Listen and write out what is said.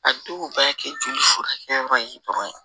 A dɔw b'a kɛ joli furakɛyɔrɔ ye dɔrɔn ye